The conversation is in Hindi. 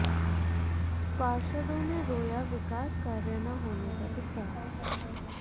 पार्षदों ने रोया विकास कार्य न होने का दुखड़ा